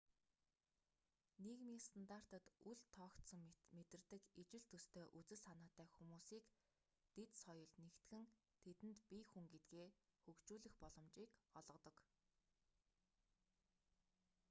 нийгмийн стандартад үл тоогдсон мэт мэдэрдэг ижил төстэй үзэл санаатай хүмүүсийг дэд соёл нэгтгэн тэдэнд бие хүн гэдгээ хөгжүүлэх боломжийг олгодог